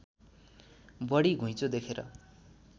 बढी घुँइचो देखेर